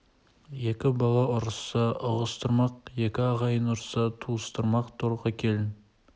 екі бала ұрысса ұғыстырмақ екі ағайын ұрысса туыстырмақ торқа келін